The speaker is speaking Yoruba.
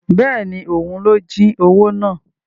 Bẹ́ẹ̀ni, òun ló jí owó náà